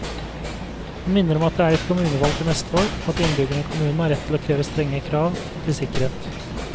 Han minner om at det er kommunevalg til neste år og at innbyggerne i kommunen har rett til å kreve strenge krav til sikkerhet.